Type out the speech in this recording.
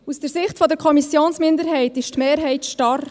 Aus der Sicht der Kommissionsminderheit ist die Mehrheit starr.